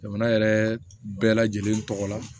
Jamana yɛrɛ bɛɛ lajɛlen tɔgɔ la